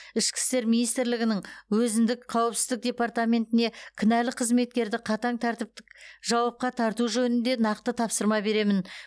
ішкі істер министрлігінің өзіндік қауіпсіздік департаментіне кінәлі қызметкерді қатаң тәртіптік жауапқа тарту жөнінде нақты тапсырма беремін